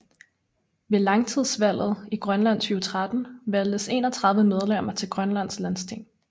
Ved landstingsvalget i Grønland 2013 valgtes 31 medemmer til Grønlands Landsting